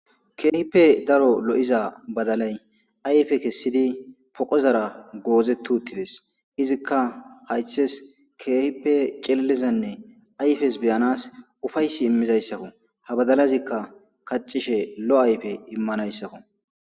Keehippe daro lo'iza badalay ayfe kesidi poqozara goozeti utidesi, izika haythesi keehippe cililzanne ayfesi beyanasi ufaysi imizaysako , ha badalazika kathishe lo'o ayfe imanaysako.